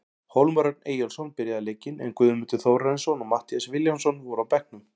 Hólmar Örn Eyjólfsson byrjaði leikinn, en Guðmundur Þórarinsson og Matthías Vilhjálmsson voru á bekknum.